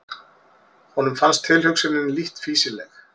Honum fannst tilhugsunin lítt fýsileg.